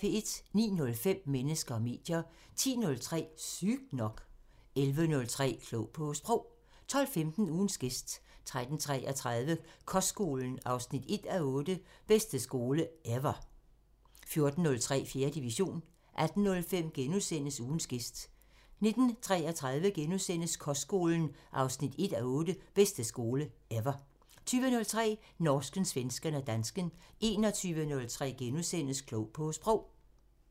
09:05: Mennesker og medier 10:03: Sygt nok 11:03: Klog på Sprog 12:15: Ugens gæst 13:33: Kostskolen 1:8 – "Bedste skole – ever" 14:03: 4. division 18:05: Ugens gæst * 19:33: Kostskolen 1:8 – "Bedste skole – ever" * 20:03: Norsken, svensken og dansken 21:03: Klog på Sprog *